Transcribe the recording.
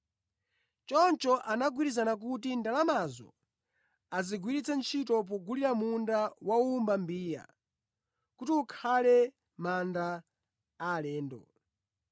Choncho anagwirizana kuti ndalamazo azigwiritse ntchito pogulira munda wa wowumba mbiya kuti ukhale manda alendo.